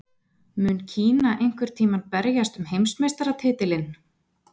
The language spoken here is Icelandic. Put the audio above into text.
Mun Kína einhvern tímann berjast um heimsmeistaratitilinn?